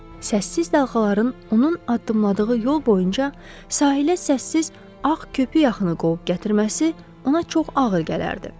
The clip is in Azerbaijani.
Səssiz dalğaların onun addımladığı yol boyunca sahilə səssiz ağ köpük yaxını qovub gətirməsi ona çox ağır gələrdi.